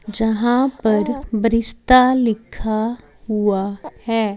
जहां पर ब्रिस्ता लिखा हुआ है।